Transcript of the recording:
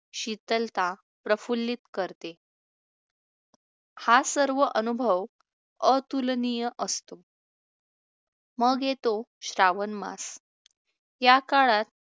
शीतलता प्रफुल्लीत करते. हा सर्व अनुभव अतुलनीय असतो. मग येतो श्रावणमास. या काळात